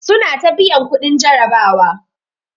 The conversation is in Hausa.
Suna ta biyan kuɗin jarabawa.